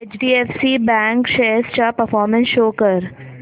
HDFC bank shares चा performance show कर